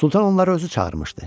Sultan onları özü çağırmışdı.